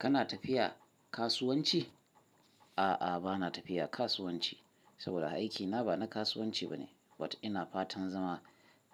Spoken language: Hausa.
Kana tafiya kasuwanci? A'a, bana tafiya kasuwanci saboda aikina ba na kasuwanci ba ne, amma ina fatan zama